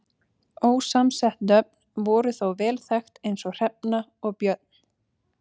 ósamsett nöfn voru þó vel þekkt eins og hrefna og björn